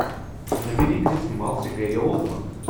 набери где снимался гэри олдман